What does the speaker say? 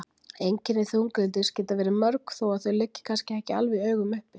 Einkenni þunglyndis geta verið mörg þó að þau liggi kannski ekki alveg í augum uppi.